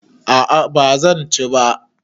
A'a bazan ci ba